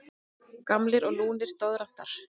Gamlir og lúnir doðrantar.